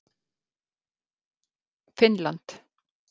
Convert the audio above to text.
Finnland